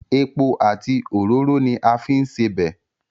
Epo àti òróró ni a fi ń sebẹ̀.